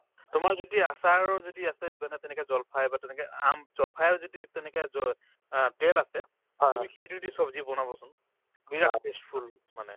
তোমাৰ যদি আচাৰোৰো যদি আছে ব এনেকে তেনেকে জলফাই বা তেনেকে আম জলফায়ো যদি তেনেকে জ অ তেল আছে তুমি সেইটোই দি ছব্জি বনাবাচোন বিৰাট taste full মানে